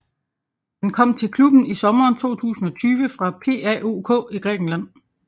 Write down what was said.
Han kom til klubben i sommeren 2020 fra PAOK i Grækenland